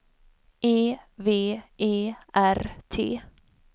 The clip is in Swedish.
E V E R T